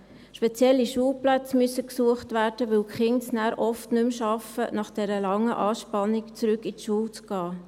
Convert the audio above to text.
Spezielle Schulplätze müssen gesucht werden, weil die Kinder es dann oft nicht mehr schaffen, nach dieser langen Anspannung in die Schule zurückzukehren.